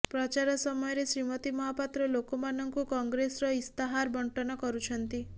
ପ୍ରଚାର ସମୟରେ ଶ୍ରୀମତୀ ମହାପାତ୍ର ଲୋକମାନଙ୍କୁ କଂଗ୍ରେସର ଇସ୍ତାହାର ବଣ୍ଟନ କରୁଛନ୍ତି